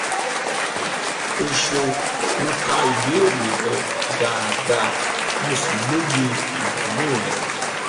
o ṣeun mo ka ìbéèrè rẹ dáadáa mo sì lóye ìdààmú rẹ